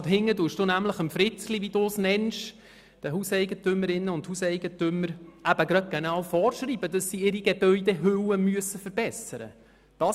Weiter hinten schreiben Sie «Fritzli», wie Sie die Hauseigentümerinnen und Hauseigentümer nennen, genau vor, dass er seine Gebäudehülle verbessern muss.